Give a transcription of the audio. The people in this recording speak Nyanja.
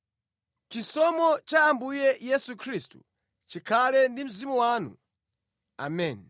Chisomo cha Ambuye Yesu Khristu chikhale ndi mzimu wanu. Ameni.